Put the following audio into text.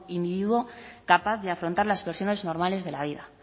individuo capaz de afrontar las presiones normales de la vida